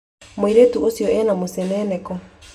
Mũirĩtu ũcio ena mũceneneko